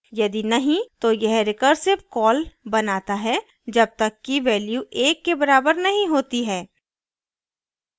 यदि नहीं तो यह recursive कॉल बनाता है जब तक कि value एक के बराबर नहीं होती है